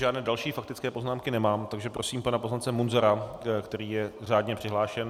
Žádné další faktické poznámky nemám, takže prosím pana poslance Munzara, který je řádně přihlášen.